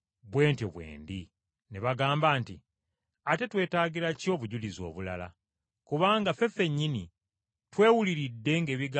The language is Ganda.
Ne bagamba nti, “Ate twetaagira ki obujulizi obulala? Kubanga ffe ffennyini twewuliridde ng’ebigambo bino biva mu kamwa ke.”